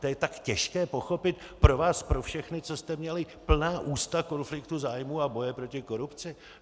To je tak těžké pochopit pro vás pro všechny, co jste měli plná ústa konfliktu zájmů a boje proti korupci?